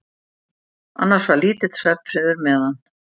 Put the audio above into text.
Annars var lítill svefnfriður meðan